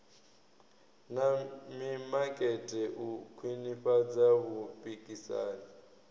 na mimakete u khwinifhadza vhupikisani